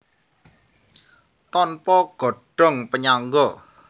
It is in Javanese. Tanpa godhong panyangga